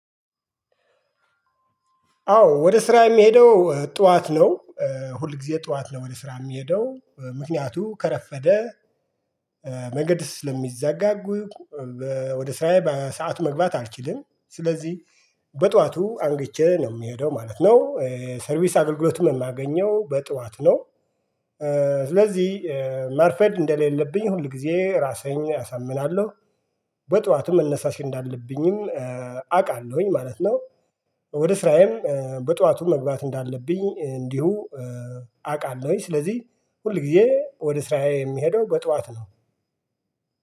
አዎ ወደ ስራ የሚሄደው ጧት ነው። ሁል ጊዜ ጧት ነው ወደ ስራ የሚሄደው ምክንያቱም ከረፈደ መንገድ ስለሚዘጋኝ ወደ ስራዬ በሰአቱ መግባት አልችልም። ስለዚህ በጠዋቱ አንግቼ ነው የምሄደው ማለት ነው። ኧ ሰርቪስ አገልግሎቱን የማገኘው በጥዋት ነው። ኧ ስለዚህ ማርፈድ እንደሌለብኝ ሁል ጊዜ ራሳዬን አሳምናለሁ። በጧቱ መነሳት እንዳለብኝም አውቃለሁኝ ማለት ነው። ወደ ስራዬ በጧቱ መግባት እንዳለብኝ እንዲሁ። አውቃለሁኝ ስለዚህ ሁል ጊዜ ወደ ስራዬ የሚሄደው በጧት ነው።